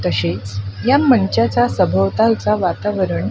तसेच या मंचाचा सभोवतालचं वातावरण--